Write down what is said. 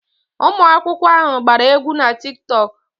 Ụmụ akwụkwọ ahụ gbara egwu na Tiktok.